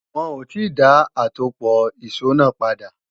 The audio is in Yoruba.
Wọn ò ti dá àtòpọ̀ ìṣó padà